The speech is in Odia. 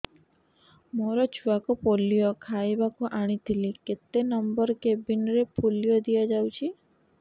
ମୋର ଛୁଆକୁ ପୋଲିଓ ଖୁଆଇବାକୁ ଆଣିଥିଲି କେତେ ନମ୍ବର କେବିନ ରେ ପୋଲିଓ ଦିଆଯାଉଛି